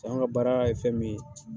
Fanga ka baara ye fɛn min ye